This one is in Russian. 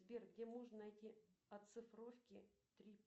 сбер где можно найти оцифровки